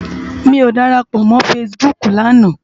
Mi ó dárápò mò fãsibúk làná